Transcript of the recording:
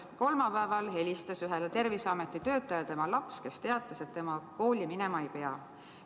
Kolmapäeval helistas ühele Terviseameti töötajale tema laps, kes teatas, et tema kooli minema ei pea.